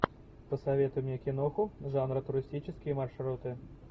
посоветуй мне киноху жанра туристические маршруты